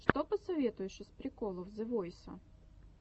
что посоветуешь из приколов зе войса